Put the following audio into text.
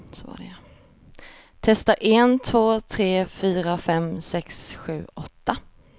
Testar en två tre fyra fem sex sju åtta.